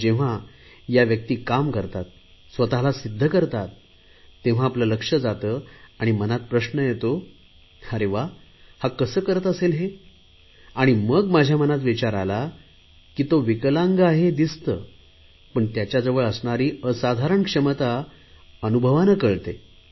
पण जेव्हा या व्यक्ती काम करतात स्वतला सिध्द करतात तेव्हा आपले लक्ष जाते आणि मनात प्रश्न येतो अरे वा हा कसे करत असेल हे आणि मग माझ्या मनात विचार आला की तो विकलांग आहे हे दिसते पण त्याच्या जवळ असणारी असाधारण क्षमता अनुभवाने कळते